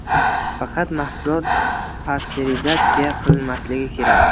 Faqat mahsulot pasterizatsiya qilinmasligi kerak.